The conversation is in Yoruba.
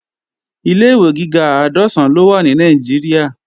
Ilé-ìwé gíga àádọ́sán ló wà ní Nàìjíríà